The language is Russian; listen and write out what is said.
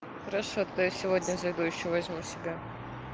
хорошо то я сегодня зайду ещё возьму себе